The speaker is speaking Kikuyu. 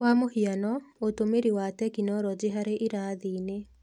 Kwa mũhiano, ũtũmĩri wa tekinoronjĩ harĩ irathi-inĩ,